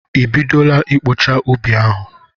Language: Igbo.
I bidola ịkpọcha ubi ahụ?